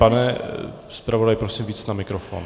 Pane zpravodaji, prosím víc na mikrofon.